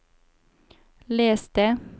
les det